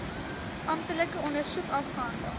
amptelike ondersoek afgehandel